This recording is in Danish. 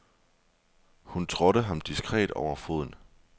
Hun trådte ham diskret over foden.